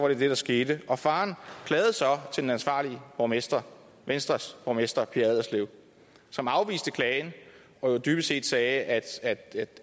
det det der skete faren klagede så til den ansvarlige borgmester venstres borgmester pia allerslev som afviste klagen og dybest set sagde at